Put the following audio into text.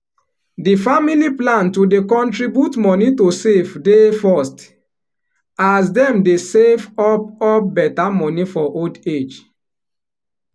di family plan to dey contribute money to save dey first as dem dey save up up better money for old age